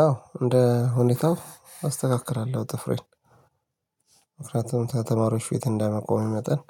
አዎ እንደ ሁኔታው አስተካክላለሁ ጥፍሬን እፍርትም ከተማሪዎች ፊት እንደመቆሙ መጠን